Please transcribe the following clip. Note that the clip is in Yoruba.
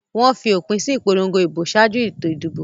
Wọ́n fi òpin sí ìpolongo ìbò ṣáájú ètò ìdìbò.